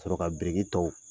K'a sɔrɔ ka biriki tɔw